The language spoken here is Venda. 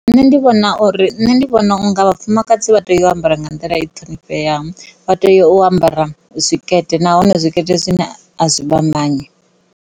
Nṋe ndi vhona uri, nṋe ndi vhona uri vhafumakadzi vha tea u ambara nga nḓila i ṱhonipheaho vha tea u ambara zwikete nahone zwikete zwine a zwi vha manyi.